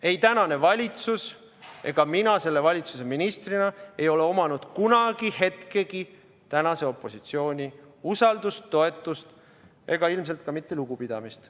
Ei tänane valitsus ega mina selle valitsuse ministrina ei ole omanud kunagi hetkegi tänase opositsiooni usaldust, toetust ega ilmselt ka mitte lugupidamist.